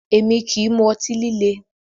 Èmi kì í mu ọtí líle